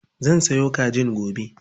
Zan sayo kajin gobe.